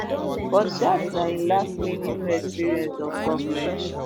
but dat na im last meaningful experience of govment